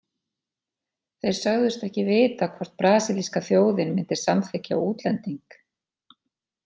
Þeir sögðust ekki vita hvort brasilíska þjóðin myndi samþykkja útlending.